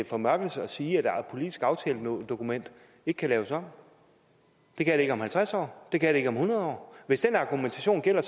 formørkelse at sige at et politisk aftaledokument ikke kan laves om det kan det ikke om halvtreds år og det kan det ikke om hundrede år hvis den argumentation gælder